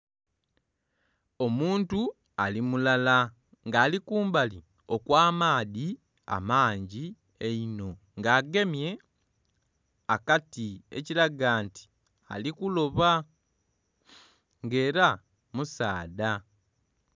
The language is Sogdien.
Omuntu ali mulala nga ali kumbali okwa maadhi amangi einho nga agemye akati ekiraga nti ali kuloba nga era musaadha.